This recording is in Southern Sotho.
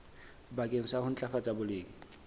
bakeng sa ho ntlafatsa boleng